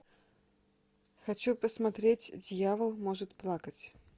хочу посмотреть дьявол может плакать